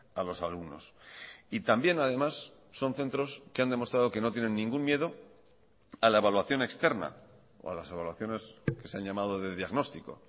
a los alumnos y también además son centros que han demostrado que no tienen ningún miedo a la evaluación externa o a las evaluaciones que se han llamado de diagnóstico